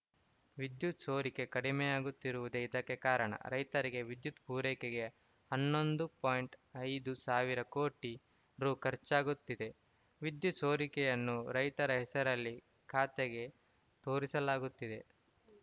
ವಿದ್ಯುತ್‌ ಸೋರಿಕೆ ಕಡಿಮೆಯಾಗುತಿರುವುದೇ ಇದಕ್ಕೆ ಕಾರಣ ರೈತರಿಗೆ ವಿದ್ಯುತ್‌ ಪೂರೈಕೆಗೆ ಹನ್ನೊಂದು ಪಾಯಿಂಟ್ ಐದು ಸಾವಿರ ಕೋಟಿ ರು ಖರ್ಚಾಗುತ್ತಿದೆ ವಿದ್ಯುತ್‌ ಸೋರಿಕೆಯನ್ನು ರೈತರ ಹೆಸರಿನಲ್ಲಿ ಖಾತೆಗೆ ತೋರಿಸಲಾಗುತ್ತಿದೆ